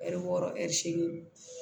Ɛri wɔɔrɔ ɛri segin